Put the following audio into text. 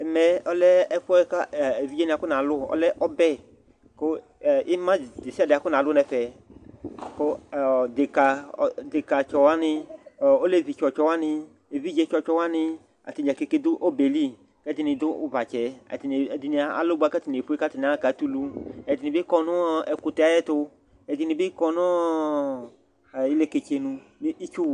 Ɛmɛ ɔlɛ ɛfuɛ kevidzewani afɔnalu ɔlɛ ɔbɛ ima desiade afɔnalu nu ɛfɛku deka tsɔwani alevi tsɔwani evidze tsɔtsɔ wani ɛdini du obɛli ɛdini alu bua ku atani efue akatulu ɛdini kɔ nu ɛkutɛ tu ɛdini bi kɔ nu ili katsenu